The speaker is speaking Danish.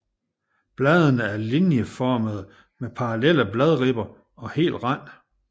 Bladene er linjeformede med parallelle bladribber og hel rand